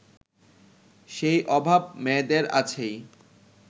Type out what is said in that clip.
সেই অভাব মেয়েদের আছেই